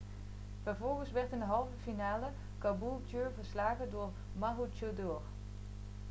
vervolgens werd in de halve finale caboolture verslagen door maroochydore